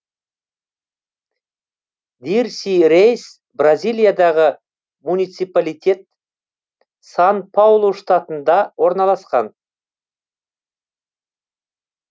дирси рейс бразилиядағы муниципалитет сан паулу штатында орналасқан